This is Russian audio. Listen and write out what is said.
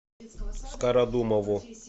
скородумову